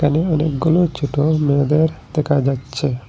এখানে অনেকগুলো ছোটো মেয়েদের দেখা যাচ্ছে।